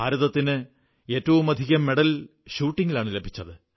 ഭാരതത്തിന് ഏറ്റവുമധികം മെഡൽ ഷൂട്ടിംഗിലാണു ലഭിച്ചത്